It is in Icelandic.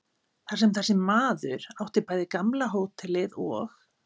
Þar sem þessi maður átti bæði gamla hótelið og